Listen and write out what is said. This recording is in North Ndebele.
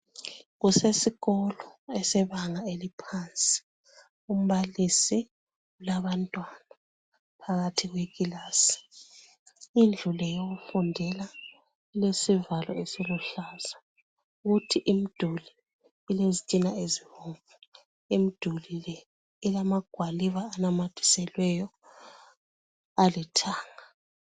Kusesikolo esebanga eliphansi. Umbalisi ulabantwana phakathi kwekilasi. Indlu le yokufundela ilesivalo esiluhlaza, kuthi imduli ilezitina ezibomvu. Imduli le ilamagwaliba anamathiselweyo alithanga.